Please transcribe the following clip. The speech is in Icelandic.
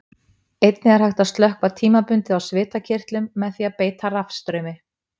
Einnig er hægt að slökkva tímabundið á svitakirtlum með því að beita rafstraumi.